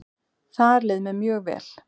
Þar leið mér mjög vel.